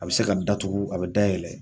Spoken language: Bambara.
A bi se ka datugu a bɛ dayɛlɛ.